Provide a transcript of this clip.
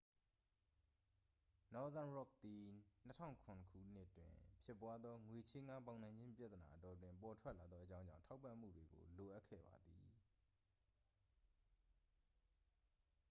နော့သန်းရော့ခ် သည် 2007 ခုနှစ်တွင်ဖြစ်ပွားသော ငွေချေးငှားပေါင်နှံခြင်းပြဿနာအတောအတွင်း ပေါ်ထွက်လာသောအကြောင်းကြောင့် ထောက်ပံ့ပေးမှုကို လိုအပ်ခဲ့ပါသည်